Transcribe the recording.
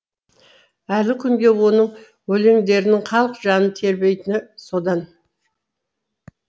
әлі күнге оның өлеңдерінің халық жанын тербейтіні содан